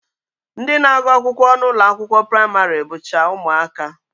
Ndị na-agụ akwụkwọ n'ụlọakwụkwọ praịmarị bụcha ụmụaka